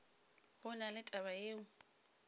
go na le taba yeo